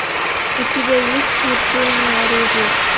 у тебя есть смертельное оружие